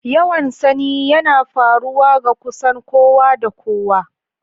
Yawan sanyi yana faruwa ga kusan kowa da kowa.